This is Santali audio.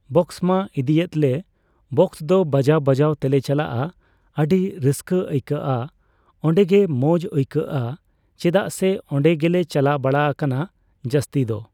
ᱵᱚᱠᱥ ᱢᱟ ᱤᱫᱤᱭᱮᱫ ᱞᱮ᱾ ᱵᱚᱠᱥ ᱫᱚ ᱵᱟᱡᱟᱣᱼᱵᱟᱡᱟᱣ ᱛᱮᱞᱮ ᱪᱟᱞᱟᱜᱼᱟ᱾ ᱟᱹᱰᱤ ᱨᱟᱹᱥᱠᱟᱹ ᱟᱹᱭᱠᱟᱹᱜᱼᱟ᱾ ᱚᱸᱰᱮ ᱜᱮ ᱢᱚᱸᱡ ᱟᱹᱭᱠᱟᱹᱜᱼᱟ᱾ ᱪᱮᱫᱟᱜ ᱥᱮ ᱚᱸᱰᱮ ᱜᱮᱞᱮ ᱪᱟᱞᱟᱣ ᱵᱟᱲᱟ ᱟᱠᱟᱱᱟ ᱡᱟᱹᱥᱛᱤ ᱫᱚ᱾